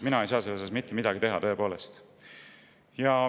Mina ei saa siin mitte midagi teha.